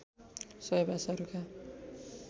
सबै भाषाहरूका